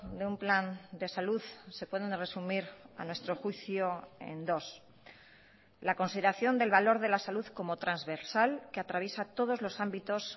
de un plan de salud se pueden resumir a nuestro juicio en dos la consideración del valor de la salud como transversal que atraviesa todos los ámbitos